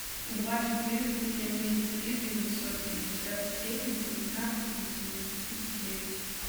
два четыреста семьдесят три девятьсот пятьдесят семь девятнадцать восемьдесят девять